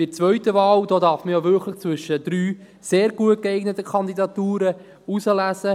Bei der zweiten Wahl darf man ja wirklich zwischen 3 sehr gut geeigneten Kandidaturen auswählen.